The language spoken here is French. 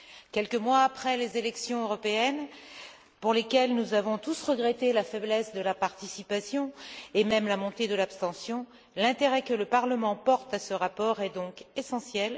Quelques mois après les élections européennes, pour lesquelles nous avons tous regretté la faiblesse de la participation, voire la montée de l'abstention, l'intérêt que le Parlement attache à ce rapport est donc essentiel.